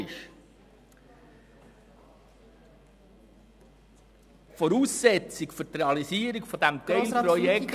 Die Voraussetzung für die Realisierung dieses Teilprojekts…